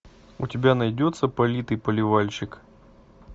у тебя найдется политый поливальщик